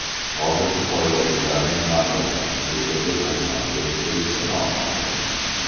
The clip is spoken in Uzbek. Hozircha poygachilarning mamlakat hududiga qachon kirib kelishi noma’lum.